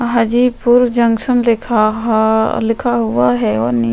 Hajipur junction लिखा हा लिखा हुआ है और--